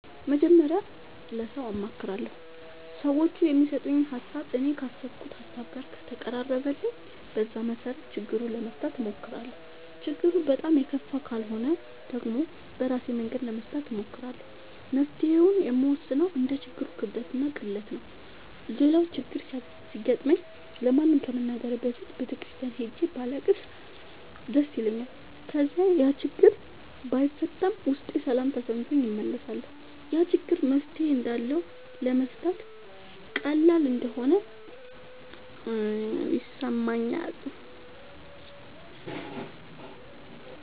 መጀመሪያ ለሠው አማክራለሁ። ሠዎቹ የሚሠጡኝ ሀሣብ እኔ ካሠብኩት ሀሳብ ጋር ከተቀራረበልኝ በዛ መሠረት ችግሩን ለመፍታት እሞክራለሁ። ችግሩ በጣም የከፋ ካልሆነ ደግሞ በራሴ መንገድ ለመፍታት እሞክራለሁ። መፍትሔውን የምወስነው እንደ ችግሩ ክብደትና ቅለት ነው። ሌላው ችግር ሲገጥመኝ ለማንም ከመናገሬ በፊት ቤተ ክርስቲያን ሄጄ ባለቅስ ደስ ይለኛል። ከዚያ ያችግር ባይፈታም ውስጤ ሠላም ተሠምቶት እመለሳለሁ። ያ ችግር መፍትሔ እንዳለውና ለመፍታት ቀላል እንደሆነ ይሠማኛል።